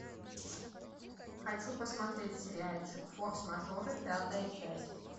хочу посмотреть сериальчик форс мажоры пятая часть